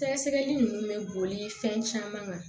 Sɛgɛsɛgɛli ninnu bɛ boli fɛn caman kan